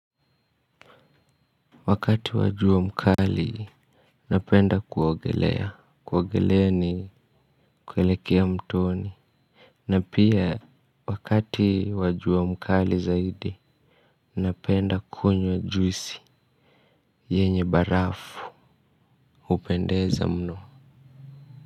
Wakati wa jua mkali, napenda kuogelea, kuogelea ni kuelekea mtoni. Na pia, wakati wa jua mkali zaidi, napenda kunywa juisi, yenye barafu, hupendeza mno.